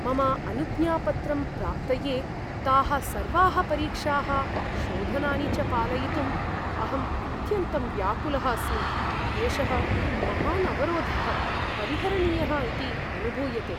मम अनुज्ञापत्रं प्राप्तये ताः सर्वाः परीक्षाः, शोधनानि च पालयितुम् अहं अत्यन्तं व्याकुलः अस्मि। एषः महान् अवरोधः परिहरणीयः इति अनुभूयते।